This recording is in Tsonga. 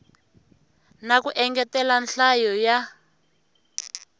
na ku engetela nhlayo ya